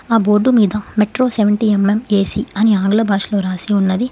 ఆ బోర్డు మీద metro seventy M M A C అని ఆంగ్ల భాషలో రాసి ఉన్నది.